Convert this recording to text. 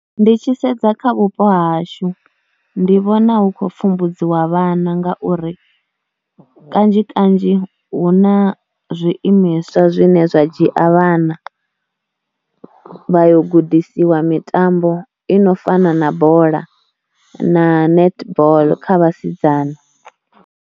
Ndi tshi sedza kha vhupo hashu ndi vhona hu kho pfhumbudziwa vhana ngauri kanzhi kanzhi hu na zwiimiswa zwine zwa dzhia vhana vha yo gudisiwa mitambo ino fana na bola na netball kha vhasidzana.